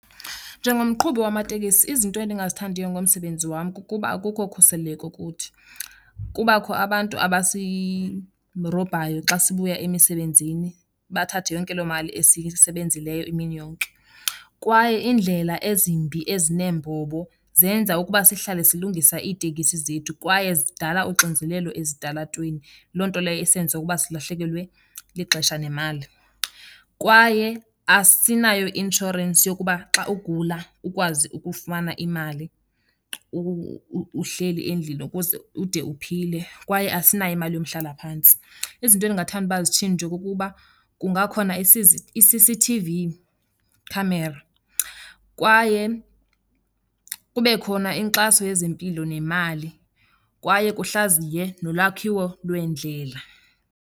Njengomqhubi wamateksi, izinto endingazithandiyo ngomsebenzi wam kukuba akukho ukhuseleko kuthi. Kubakho abantu abasirobhayo xa sibuya emisebenzini, bathathe yonke loo mali esiyisebenzileyo imini yonke. Kwaye iindlela ezimbi, ezineembobo zenza ukuba sihlale silungisa itekisi zethu kwaye zindala uxinzelelo ezitalatweni, loo nto leyo isenza ukuba silahlekelwe lixesha nemali. Kwaye asinayo i-inshorensi yokuba xa ugula ukwazi ukufumana imali uhleli endlini ukuze ude uphile, kwaye asinayo imali yomhlalaphantsi. Izinto endingathanda uba zitshintshwe kukuba kungakhona i-C_C_T_V camera kwaye kube khona inkxaso yezempilo nemali, kwaye kuhlaziywe nolwakhiwo lweendlela.